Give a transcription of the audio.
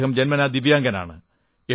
അദ്ദേഹം ജന്മനാ ദിവ്യാംഗനാണ്